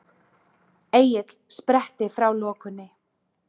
Egill spretti frá lokunni.